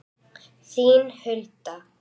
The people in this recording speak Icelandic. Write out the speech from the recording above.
Þín, Hulda.